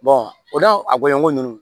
o n'a a gɔɲɔngɔn ninnu